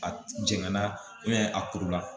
A jɛngɛn na a kuru la